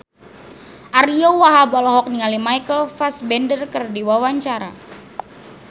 Ariyo Wahab olohok ningali Michael Fassbender keur diwawancara